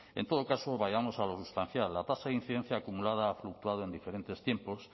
en todo caso vayamos a lo sustancial la tasa de incidencia acumulada ha fluctuado en diferentes tiempos